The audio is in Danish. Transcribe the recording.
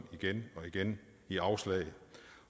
igen og igen i afslag